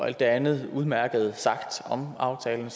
alt det andet udmærkede sagt om aftalen